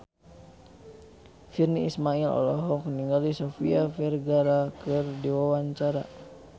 Virnie Ismail olohok ningali Sofia Vergara keur diwawancara